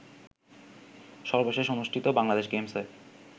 সর্বশেষ অনুষ্ঠিত বাংলাদেশ গেমসে